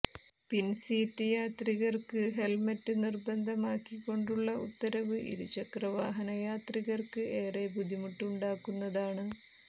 പിന്സീറ്റ് യാത്രികര്ക്ക് ഹെല്മറ്റ് നിര്ബന്ധമാക്കികൊണ്ടുള്ള ഉത്തരവ് ഇരുചക്രവാഹന യാത്രികര്ക്ക് ഏറെ ബുദ്ധിമുട്ട് ഉണ്ടാക്കുന്നതാണ്